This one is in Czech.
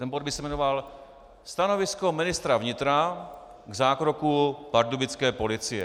Bod by se jmenoval Stanovisko ministra vnitra k zákroku pardubické policie.